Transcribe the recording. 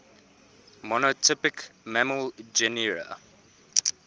monotypic mammal genera